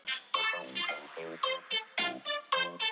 Lillý Valgerður: Í sólina eða?